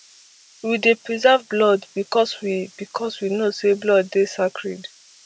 we dey preserve blood becos we becos we know say blood dey sacred